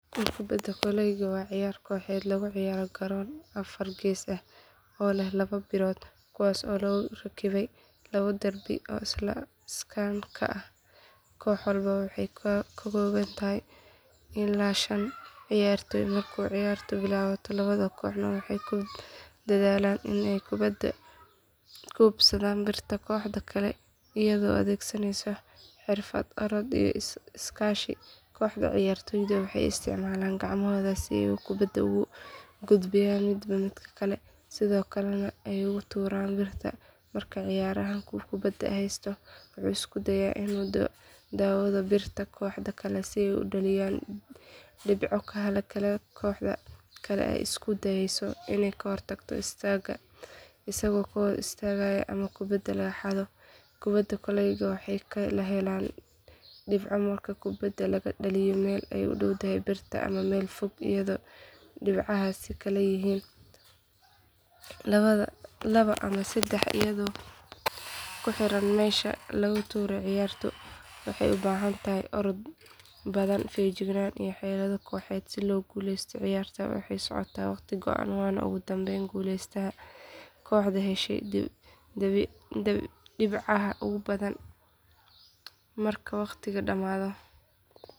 Kubadda kolayga waa cayaar kooxeed lagu ciyaaro garoon afar gees ah oo leh laba birood kuwaas oo lagu rakibay laba darbi oo iskaan ah koox walba waxay ka kooban tahay ilaa shan ciyaartoy marka ciyaartu bilaabato labada kooxood waxay ku dadaalaan inay kubadda ku hubsadaan birta kooxda kale iyadoo la adeegsanayo xirfad orod iyo iskaashiga kooxda ciyaartoyda waxay isticmaalaan gacmahooda si ay kubadda ugu gudbiyaan midba midka kale sidoo kalena ay ugu tuuraan birta marka ciyaaryahanku kubadda haysto wuxuu isku dayaa inuu u dhowaado birta kooxda kale si uu u dhaliyo dhibco halka kooxda kale ay isku dayayso inay ka hor istaagto isagoo la hor istaagayo ama kubadda laga xado kubadda kolayga waxaa laga helaa dhibco marka kubadda laga dhaliyo meel u dhow birta ama meel fog iyadoo dhibcahaasi kala yihiin laba ama saddex iyadoo ku xiran meesha laga tuuray ciyaartu waxay u baahan tahay orod badan feejignaan iyo xeelado kooxeed si loo guuleysto ciyaarta waxay socotaa waqti go’an waxaana ugu dambeyn guuleysta kooxda heshay dhibcaha ugu badan marka waqtigu dhamaado.